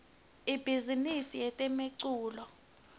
ibhizimisi yetemculo